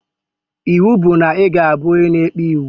Iwu bụ na iga abụ onye na-ekpe iwu